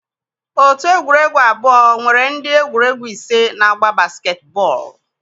otu egwuregwu abụọ nwere ndị egwuregwu ise na-agba basketball.